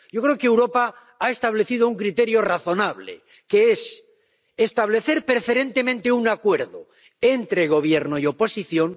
Yo creo que Europa ha establecido un criterio razonable, que es establecer preferentemente un acuerdo entre Gobierno y oposición